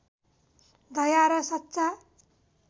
दया र सच्चा